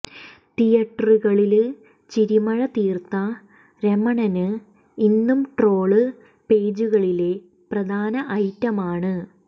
തിയറ്ററുകളില് ചിരിമഴ തീര്ത്ത രമണന് ഇന്നും ട്രോള് പേജുകളിലെ പ്രധാന ഐറ്റമാണ്